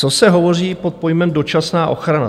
Co se hovoří pod pojmem dočasná ochrana?